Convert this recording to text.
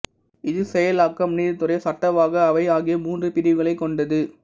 இது செயலாக்கம் நீதித் துறை சட்டவாக்க அவை ஆகிய மூன்று பிரிவுகளைக் கொண்டது